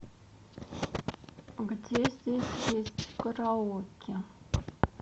где здесь есть караоке